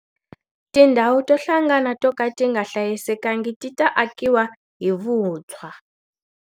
Tindhawu to hlangana to ka ti nga hlayisekangi ti ta akiwa hi vutshwa.